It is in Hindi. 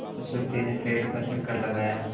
उस व्यक्ति ने पेड़ का चक्कर लगाया